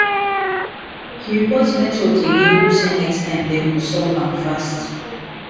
he report network again hope say next time dem go solve am fast